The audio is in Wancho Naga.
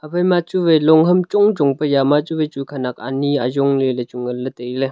haphaima chuwai long ham chongchong pu jama chuwai chu khanak ani ajongley chuwai nganley tailey.